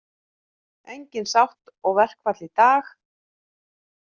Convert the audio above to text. Engin sátt og verkfall í dag